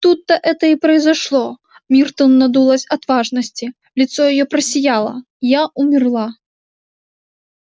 тут-то это и произошло миртл надулась от важности лицо её просияло я умерла